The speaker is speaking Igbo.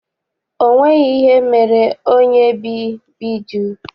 O nweghị ihe mere onyebbijụ́